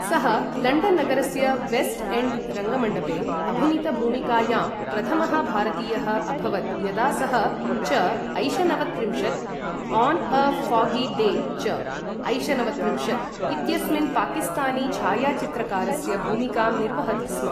सः लण्डन् नगरस्य West End रङ्गमण्डपे अभिनीत भूमिकायां प्रथमः भारतीयः अभवत् यदा सः चऐशनवत्रिंशत्, ऑन् ए फोग्गी डेचऐशनवत्रिंशत्, इत्यस्मिन् पाकिस्तानी छायाचित्रकारस्य भूमिकां निर्वहति स्म ।